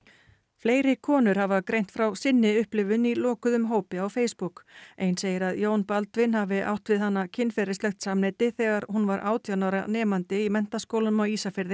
fleiri konur hafa greint frá sinni upplifun í lokuðum hópi á Facebook ein segir að Jón Baldvin hafi átt við hana kynferðislegt samneyti þegar hún var átján ára nemandi í Menntaskólanum á Ísafirði